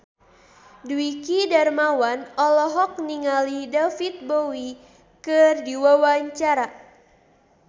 Dwiki Darmawan olohok ningali David Bowie keur diwawancara